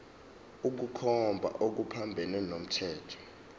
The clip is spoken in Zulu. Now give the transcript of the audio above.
ukukhomba okuphambene nomthetho